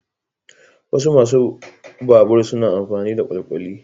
Wasu masu babur suna amfani da kwalkwali.